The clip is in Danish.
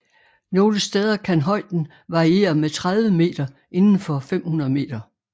Nogle steder kan højden variere med 30 meter inden for 500 meter